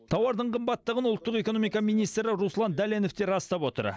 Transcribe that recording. тауардың қымбаттығын ұлттық экономика министрі руслан дәленов те растап отыр